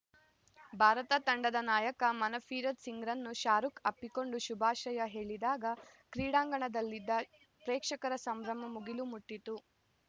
ಭಾರತ ತಂಡದ ನಾಯಕ ಮನ್‌ಪ್ರೀತ್‌ ಸಿಂಗ್‌ರನ್ನು ಶಾರುಖ್‌ ಅಪ್ಪಿಕೊಂಡು ಶುಭಾಶಯ ಹೇಳಿದಾಗ ಕ್ರೀಡಾಂಗಣದಲ್ಲಿದ್ದ ಪ್ರೇಕ್ಷಕರ ಸಂಭ್ರಮ ಮುಗಿಲು ಮುಟ್ಟಿತು